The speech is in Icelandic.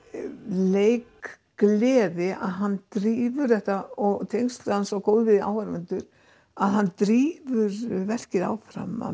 leikgleði að hann drífur þetta og tengsl hann svo góð við áhorfendurna að hann drífur verkið áfram af